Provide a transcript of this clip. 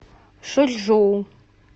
шочжоу